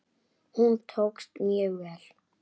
Hún tókst mjög vel.